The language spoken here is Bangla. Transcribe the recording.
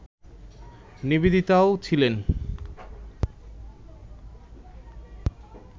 নিবেদিতাও ছিলেন